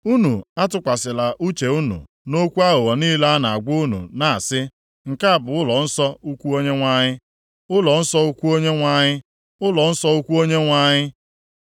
Unu atụkwasịla uche unu nʼokwu aghụghọ niile a na-agwa unu na-asị, “Nke a bụ ụlọnsọ ukwu Onyenwe anyị, ụlọnsọ ukwu Onyenwe anyị, ụlọnsọ ukwu Onyenwe anyị!”